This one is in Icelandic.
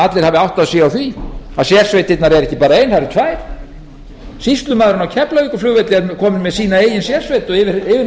allir hafi áttað sig á því að sérsveitirnar eru ekki bara ein það eru tvær sýslumaðurinn á keflavíkurflugvelli er kominn með sína eigin sérsveit og yfirmaður